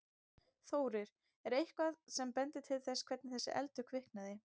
Þórir: Er eitthvað sem bendir til þess hvernig þessi eldur kviknaði?